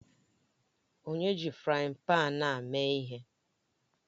Onye ji frayin pan a mee ihe?